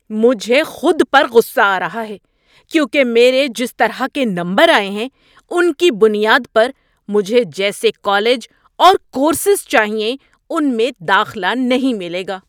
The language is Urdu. مجھے خود پر غصہ آ رہا ہے کیونکہ میرے جس طرح کے نمبر آئے ہیں ان کی بنیاد پر مجھے جیسے کالج اور کورسز چاہئیں ان میں داخلہ نہیں ملے گا۔